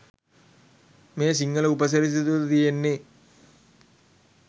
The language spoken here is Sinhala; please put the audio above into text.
මේ සිංහල උපසිරසි තුල තියෙන්නෙ